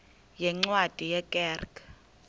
yeencwadi ye kerk